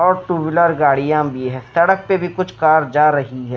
और two wheeler गाड़ियां भी है सड़क पे भी कुछ कार जा रही है।